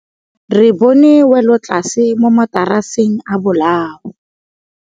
Re bone wêlôtlasê mo mataraseng a bolaô.